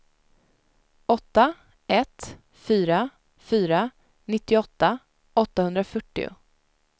åtta ett fyra fyra nittioåtta åttahundrafyrtio